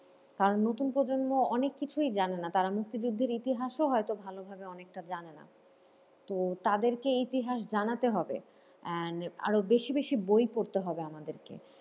কারণ নতুন প্রজন্ম অনেক কিছুই জানেনা তারা মুক্তিযুদ্ধের ইতিহাসও হয়তো ভালোভাবে অনেকটা জানেনা তো তাদেরকে ইতিহাস জানাতে হবে and আরো বেশি বেশি বই পড়তে হবে আমাদেরকে।